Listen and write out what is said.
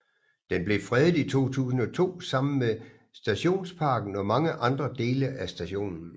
Den blev fredet i 2002 sammen med stationsparken og mange andre dele af stationen